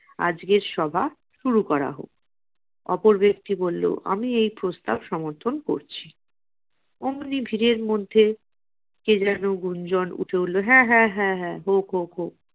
আজকের সভা শুরু করা হোক। ওপর ব্যক্তি বললো আমি এই প্রস্তাব সমর্থন করছি। অমনি ভিড়ের মধ্যে কে যেন গুঞ্জন উঠে উঠলো, হ্যাঁ হ্যাঁ হ্যাঁ হ্যাঁ হোক হোক হোক।